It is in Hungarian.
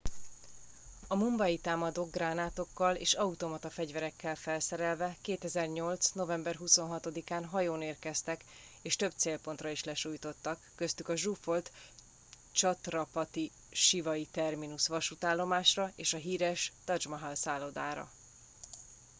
a mumbai támadók gránátokkal és automata fegyverekkel felszerelve 2008. november 26 án hajón érkeztek és több célpontra is lesújtottak köztük a zsúfolt chhatrapati shivaji terminus vasútállomásra és a híres taj mahal szállodára